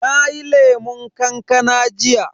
Nayi lemun kankana jiya.